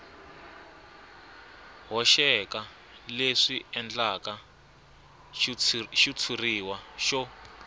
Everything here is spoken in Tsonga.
hoxeka leswi endlaka xitshuriwa xo